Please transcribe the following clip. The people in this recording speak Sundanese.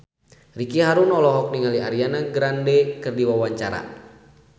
Ricky Harun olohok ningali Ariana Grande keur diwawancara